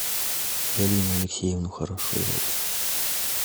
галину алексеевну хорошилову